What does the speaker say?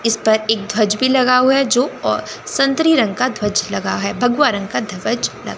इस पर एक ध्वज भी लगा हुआ है जो संतरे रंग का ध्वज लगा है भगवा रंग का ध्वज ल--